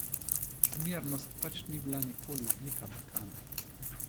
Zmernost pač ni bila nikoli odlika Balkana.